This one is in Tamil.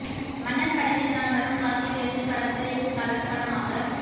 மன்னன் படத்தில் நான் வரும் காட்சியில் இருந்து படத்தை கலர் படமாக